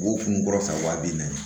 Wo kun kɔrɔ san wa bi naani